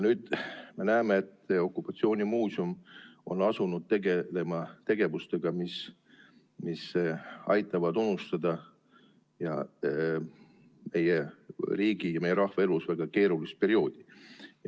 Nüüd me näeme, et okupatsioonimuuseum on asunud tegelema teemadega, mis aitavad unustada meie riigi ja meie rahva elus väga keerulist perioodi.